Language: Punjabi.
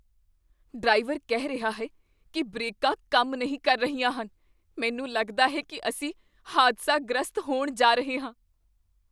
ਡਰਾਈਵਰ ਕਹਿ ਰਿਹਾ ਹੈ ਕੀ ਬ੍ਰੇਕਾਂ ਕੰਮ ਨਹੀਂ ਕਰ ਰਹੀਆਂ ਹਨ। ਮੈਨੂੰ ਲੱਗਦਾ ਹੈ ਕੀ ਅਸੀਂ ਹਾਦਸਾ ਗ੍ਰਸਤ ਹੋਣ ਜਾ ਰਹੇ ਹਾਂ।